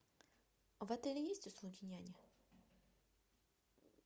в отеле есть услуги няни